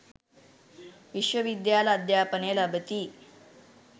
විශ්ව විද්‍යාල අධ්‍යාපනය ලබති